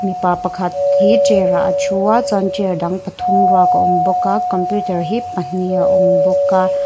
mipa pakhat hi chair ah a thu a chuan chair dang pathum ruak a awm bawk a computer hi pahnih a awm bawk a--